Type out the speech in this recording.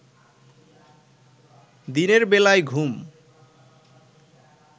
দিনের বেলায় ঘুম